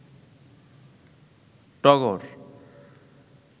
টগর